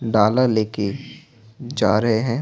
डाला लेके जा रहे हैं।